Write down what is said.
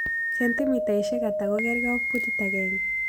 Sentimitaisyek ata kogegre ak putit agenge